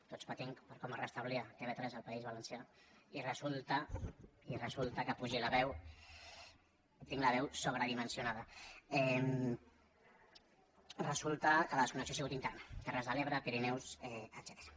tots patint per com es restablia tv3 al país valencià i resulta que apugi la veu tinc la veu sobredimensionada resulta que la connexió ha sigut interna terres de l’ebre pirineus etcètera